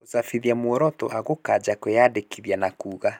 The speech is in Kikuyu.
Gũcabithia muoroto wa gũkanja kwĩyandĩkithia na kuuga.